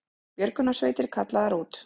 Björgunarsveitir kallaðar út